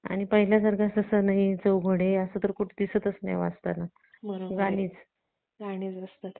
youtube आहे, आणखी instagram आहे भरपूर असे वेगवेगळे option आहेत त्यावर आपल्याला बघता येत आणि तेवढच नाहीतर हम्म